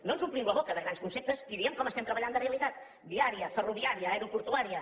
no ens omplim la boca de grans conceptes i diem com estem treballant de realitat viària ferroviària aeroportuària